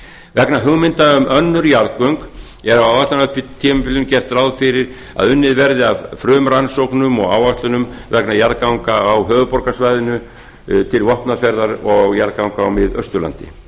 vegna hugmynda um önnur jarðgöng er á áætlunartímabilinu gert ráð fyrir að unnið verði að frumrannsóknum og áætlunum vegna jarðganga á höfuðborgarsvæðinu til vopnafjarðar og jarðganga á miðausturlandi